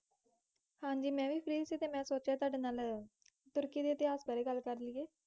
ਹਾਂਜੀ ਮੈਂ ਵੀ free ਸੀ ਅਤੇ ਮੈਂ ਸੋਚਿਆ ਤੁਹਾਡੇ ਨਾਲ ਤੁਰਕੀ ਦੇ ਇਤਿਹਾਸ ਬਾਰੇ ਗੱਲ ਕਰ ਲਈਏ।